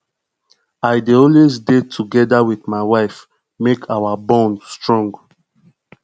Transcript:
i dey always dey together wit my wife make our bond strong